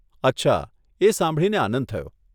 અચ્છા, એ સાંભળીને આનંદ થયો.